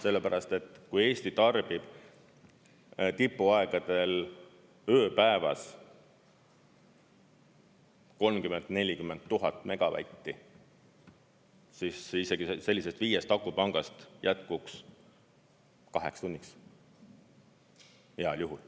Sellepärast et kui Eesti tarbib tipuaegadel ööpäevas 30 000 kuni 40 000 megavatti, siis isegi sellisest viiest akupangast jätkuks kaheks tunniks heal juhul.